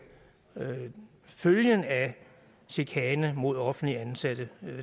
følgerne af chikane mod offenligt ansatte